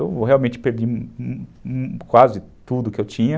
Eu realmente perdi quase tudo que eu tinha.